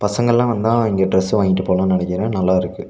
பசங்கல்லா வந்தா இங்க ட்ரஸ் வாங்கிட்டு போலான்னு நனைக்கிறே நல்லா இருக்கு.